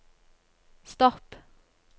stopp